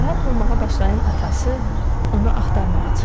Narahat olmağa başlayan atası onu axtarmağa çıxdı.